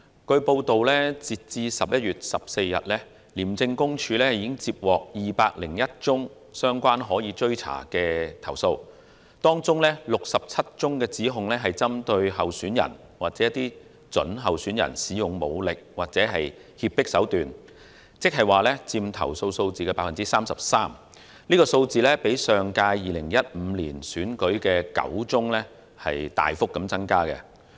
據報道，截至11月14日，廉政公署已接獲201宗相關的可追查投訴，當中67宗指控是針對候選人或準候選人使用武力或脅迫手段，佔投訴數字的 33%， 較上屆2015年區選的9宗大幅增加。